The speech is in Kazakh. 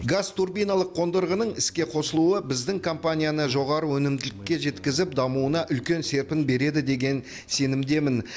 газ турбиналық қондырғының іске қосылуы біздің компанияны жоғары өнімділікке жеткізіп дамуына үлкен серпін береді деген сенімдемін